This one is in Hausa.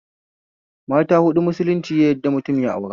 Mata huɗu musulunci ya yadda mutum ya aura